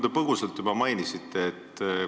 Te põgusalt juba mainisite seda.